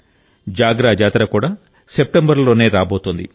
జాగ్ర జాతర కూడా సెప్టెంబర్ లోనే రాబోతోంది